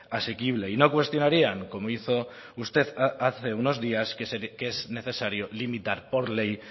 asequible y no cuestionarían como hizo usted hace unos días que es necesario limitar por ley